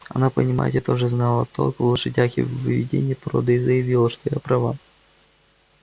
она понимаете тоже знала толк в лошадях и в выведении породы и заявила что я права